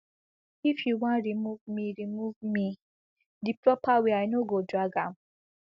if you wan remove me remove me di proper way i no go drag am